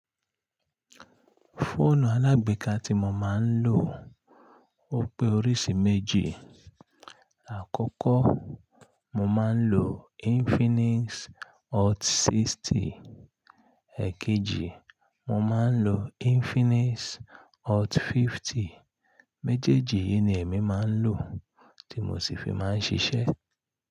Fóònù alágbèéká tí mo máa ń lò ó pé oríṣi méjì. Àkọ́kọ́ mo máa ń lò Infinix Hot 60, èkejì mo máa ń lò Infinix Hot 50. Méjèèjì yìí ni èmi máa ń lò tí mo sì fi máa ń ṣiṣẹ́.